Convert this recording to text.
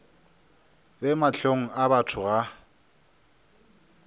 be mahlong a batho ga